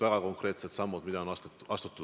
Väga konkreetsed sammud, mida on astutud.